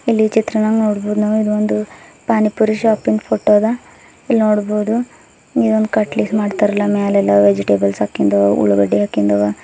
ಇಲ್ಲಿ ಚಿತ್ರನಾಗ್ ನೋಡ್ಬಹುದು ನಾವ್ ಇದೊಂದು ಪಾನಿಪುರಿ ಶಾಪಿಂದ್ ಫೋಟೋ ಅದ ಇಲ್ನೋಡ್ಬಹುದು ಇದೊಂದ್ ಕಟ್ಲೀಸ್ ಮಾಡ್ತಾರಲಾ ಮ್ಯಾಲೇಲ್ಲಾ ವೆಜಿಟೇಬಲ್ಸ್ ಹಾಕಿಂದು ಉಳ್ಳಗಡ್ಡಿ ಹಾಕಿಂದು--